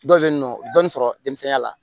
Dɔw bɛ yen nɔ dɔɔnin sɔrɔ denmisɛnninya la